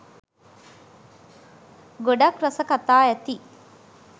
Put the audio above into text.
ගොඩක් රස කතා ඇති